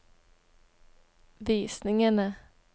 visningene